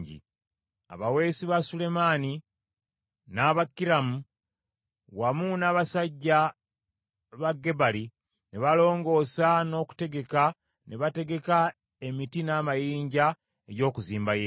Abaweesi ba Sulemaani n’aba Kiramu, wamu n’abasajja ba Gebali ne balongoosa n’okutegeka ne bategeka emiti n’amayinja eby’okuzimba yeekaalu.